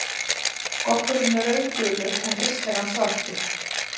Goggurinn er rauðgulur en yst er hann svartur.